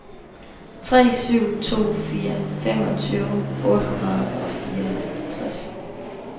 tre syv to fire femogtyve otte hundrede og fireoghalvtreds